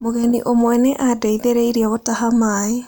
Mũgeni ũmwe nĩ aandeithirie gũtaha maaĩ.